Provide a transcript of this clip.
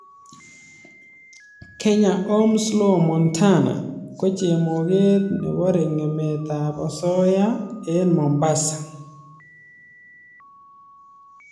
Kenya Ohms law montana, ko chemoget neborye ngemet ab asoya eng mombasa kenya.